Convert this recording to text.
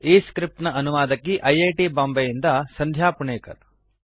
ಈ ಸ್ಕ್ರಿಪ್ಟ್ ನ ಅನುವಾದಕಿ ಐ ಐ ಟಿ ಬಾಂಬೆಯಿಂದ ಸಂಧ್ಯಾ ಪುಣೇಕರ್